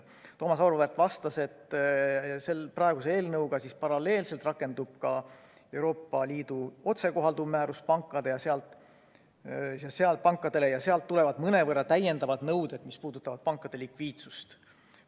Thomas Auväärt vastas, et praeguse eelnõuga paralleelselt rakendub ka Euroopa Liidu otsekohalduv määrus pankadele ja sealt tulevad mõnevõrra täiendavad nõuded, mis puudutavad pankade likviidsust.